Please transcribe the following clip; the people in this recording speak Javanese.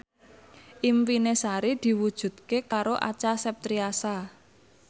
impine Sari diwujudke karo Acha Septriasa